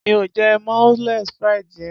Mi ò jẹ moules frites yen.